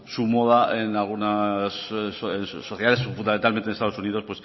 su moda en algunas sociedades fundamentalmente estados unidos